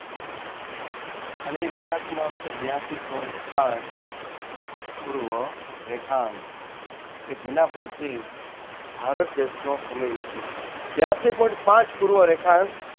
અને એ રેખાંશનું નામ છે બીયાસી Point પાંચ પૂર્વ રેખાંશ કે જેના પરથી ભારત દેશનો સમય નક્કી થાય છે. બિયાસી Point પાંચ પૂર્વ રેખાંશ